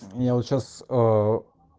я вот сейчас